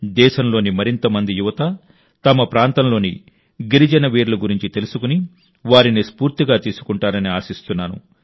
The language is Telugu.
దేశంలోని మరింత మంది యువత తమ ప్రాంతంలోని గిరిజన వీరుల గురించి తెలుసుకుని వారిని స్ఫూర్తిగా తీసుకుంటారని ఆశిస్తున్నాను